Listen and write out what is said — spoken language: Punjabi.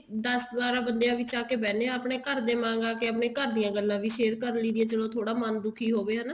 ਦਸ ਬਾਰਾਂ ਬੰਦਿਆਂ ਵਿੱਚ ਆ ਕੇ ਬਹਿਨੇ ਹਾਂ ਆਪਣੇ ਘਰ ਦੇ ਵਾਂਗ ਆ ਕੇ ਆਪਣੇ ਘਰ ਦੀਆਂ ਗੱਲਾਂ ਵੀ share ਕਰ ਲਈਦੀ ਆ ਚਲੋ ਥੋੜਾ ਮਨ ਦੁਖੀ ਹੋਵੇਂ ਹਨਾ